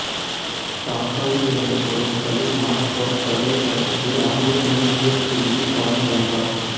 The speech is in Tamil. டாக்காவில் இருந்தபோது கலீல் நார்த் சவுத் பல்கலைக்கழகத்தில் ஆங்கில மொழியியல் பிரிவில் பாடம் பயின்றார்